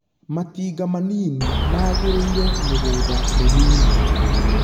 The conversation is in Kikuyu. Matinga manini maagĩrĩire mĩgũnda mĩnini.